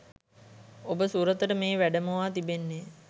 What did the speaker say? ඔබ සුරතට මේ වැඩමවා තිබෙන්නේ